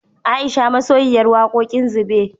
Aisha masoyiyar wakoƙin zube